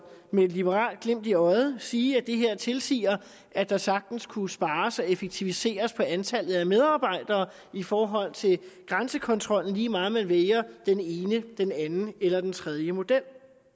med et liberalt glimt i øjet sige at det her tilsiger at der sagtens kunne spares og effektiviseres på antallet af medarbejdere i forhold til grænsekontrollen lige meget om man vælger den ene den anden eller den tredje model